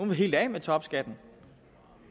vil helt af med topskatten